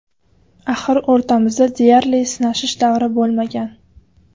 Axir o‘rtamizda deyarli sinashish davri bo‘lmagan.